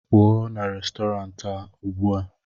pụọ na Restọrantị a ugbu a!